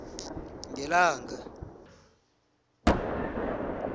ngelanga